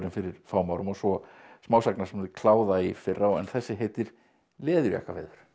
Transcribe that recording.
fyrir fáum árum og svo smásagnasafnið kláða í fyrra en þessi heitir Leðurjakkaveður